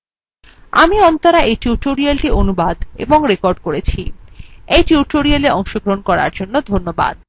আমি অন্তরা এই tutorialটি অনুবাদ এবং রেকর্ড করেছি